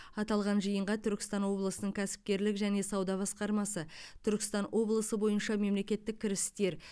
аталған жиынға түркістан облысының кәсіпкерлік және сауда басқармасы түркістан облысы бойынша мемлекеттік кірістер